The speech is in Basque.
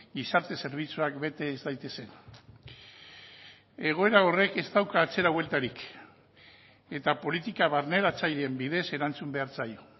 gizarte zerbitzuak bete ez daitezen egoera horrek ez dauka atzera bueltarik eta politika barneratzaileen bidez erantzun behar zaio